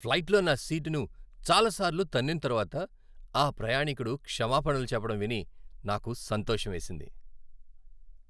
ఫ్లైట్లో నా సీటును చాలాసార్లు తన్నిన తర్వాత ఆ ప్రయాణికుడు క్షమాపణలు చెప్పడం విని నాకు సంతోషమేసింది.